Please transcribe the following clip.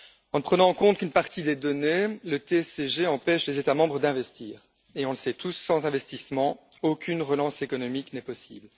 En ne prenant en compte qu'une partie des données, le TSCG empêche les États membres d'investir et, on le sait tous, sans investissement, aucune relance économique n'est possible.